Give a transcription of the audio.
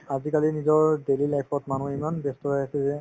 আজিকালি নিজৰ daily life ত মানুহ ইমান ব্যস্ত হৈ আছে যে